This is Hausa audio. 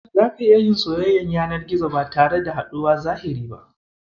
Zaka iya yin soyayyar yanar gizo ba tare da haɗuwar zahiri ba.